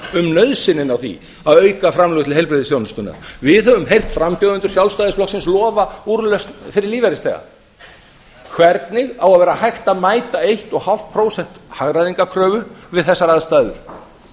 um nauðsynina á því að auka framlög til heilbrigðisþjónustunnar við höfum heyrt frambjóðendur sjálfstæðisflokksins lofa úrlausn fyrir lífeyrisþega hvernig á að vera hægt að mæta fimmtán prósent hagræðingarkröfu við þessar aðstæður